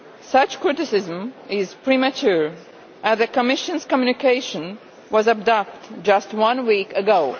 Such criticism is premature as the Commission's communication was adopted just one week ago.